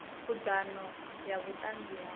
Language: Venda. khud ano ya vhutanzi ha